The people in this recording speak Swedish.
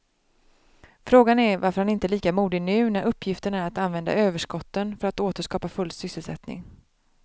Frågan är varför han inte är lika modig nu när uppgiften är att använda överskotten för att åter skapa full sysselsättning.